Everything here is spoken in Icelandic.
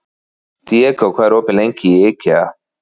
Diego, hvað er opið lengi í IKEA?